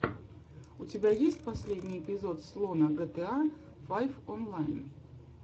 у тебя есть последний эпизод слона гта файв онлайн